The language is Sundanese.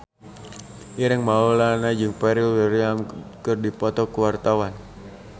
Ireng Maulana jeung Pharrell Williams keur dipoto ku wartawan